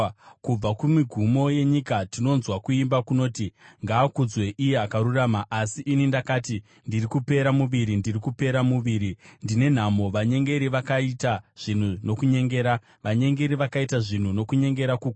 Kubva kumigumo yenyika tinonzwa kuimba kunoti: “Ngaakudzwe iye Akarurama.” Asi ini ndakati, “Ndiri kupera muviri, ndiri kupera muviri! Ndine nhamo! Vanyengeri vakaita zvinhu nokunyengera! Vanyengeri vakaita zvinhu nokunyengera kukuru!”